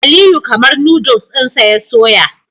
Aliyu kamar Noddles dinsa ya soya